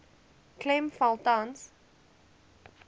klem val tans